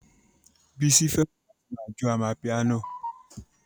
Bísí fẹ́ràn láti ma jó amapiano